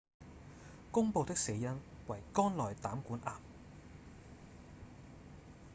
公布的死因為肝內膽管癌